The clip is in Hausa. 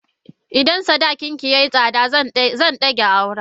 Idan sadaki ki yayi tsada zan dage auren.